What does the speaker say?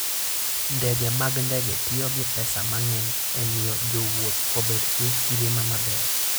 Ndege mag ndege tiyo gi pesa mang'eny e miyo jowuoth obed gi ngima maber.